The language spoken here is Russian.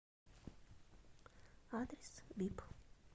адрес бип